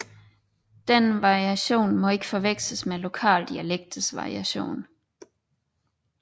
Denne variation må ikke forveksles med lokale dialekters variation